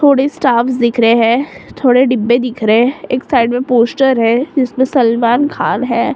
थोड़े स्टाफ़्स दिख रहे हैं थोड़े डिब्बे दिख रहे हैं एक साइड में पोस्टर है जिसमें सलमान खान है।